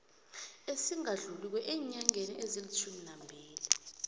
esingadluliko eenyangeni ezilitjhuminambili